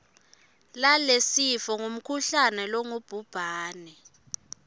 lalesifo ngumkhuhlane longubhubhane